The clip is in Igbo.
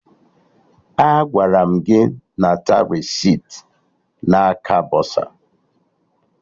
Agwara m gị nata resiti na aka bọsa!